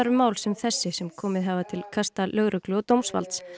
um mál sem þessi sem komið hafa til kasta lögreglu og dómsvalds